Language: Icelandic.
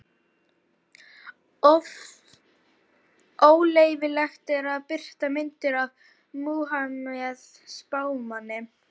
Óleyfilegt er að birta myndir af Múhameð spámanni.